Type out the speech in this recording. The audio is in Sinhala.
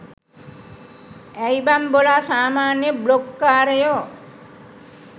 ඇයි බන් බොලා සාමාන්‍ය බ්ලොග් කාරයො